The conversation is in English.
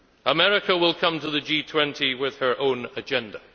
America will come to the G20 with her own agenda.